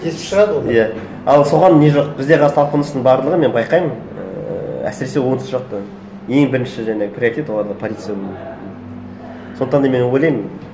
тесіп шығады иә ал соған не жоқ бізде қазір талпыныстың барлығы мен байқаймын ііі әсіресе оңтүстік жақта ең бірінші жаңағы приоритет оларда полиция болу сондықтан да мен ойлаймын